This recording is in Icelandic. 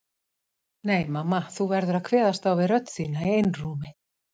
Nei mamma þú verður að kveðast á við rödd þína í einrúmi.